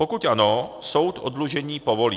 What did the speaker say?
Pokud ano, soud oddlužení povolí.